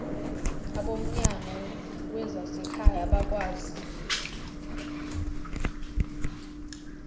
abomnyango wezasekhaya bakwazi